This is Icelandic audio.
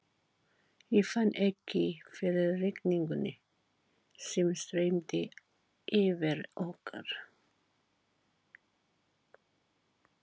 Ég fann ekki fyrir rigningunni sem streymdi yfir okkur.